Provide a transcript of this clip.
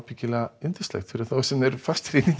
örugglega yndislegt fyrir þá sem eru fastir í